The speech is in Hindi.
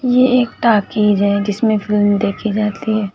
ये एक टाकिज है जिसमे फिल्म देखि जाती है।